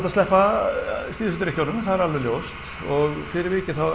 að sleppa síðustu drykkjunum það er alveg ljóst og fyrir vikið þá